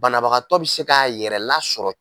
Banabagatɔ bɛ se k'a yɛrɛ lasɔrɔ.